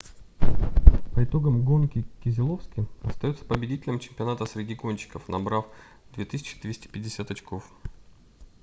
по итогам гонки кезеловски остается победителем чемпионата среди гонщиков набрав 2250 очков